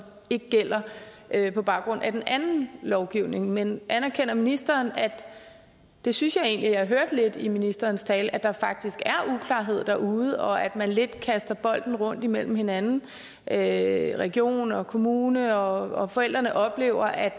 ikke gælder på baggrund af den anden lovgivning men anerkender ministeren og det synes jeg egentlig jeg hørte lidt i ministerens tale at der faktisk er uklarhed derude og at man lidt kaster bolden rundt imellem hinanden at region og kommune og forældrene oplever at